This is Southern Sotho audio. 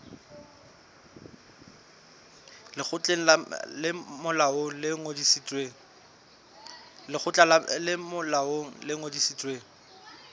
lekgotla le molaong le ngodisitsweng